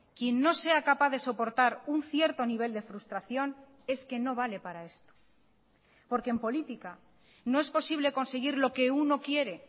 quien no sea capaz de soportar un cierto nivel de frustración es que no vale para esto porque en política no es posible conseguir lo que uno quiere